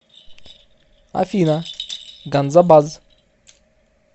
афина ганзабаз